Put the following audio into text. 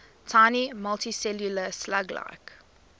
tiny multicellular slug like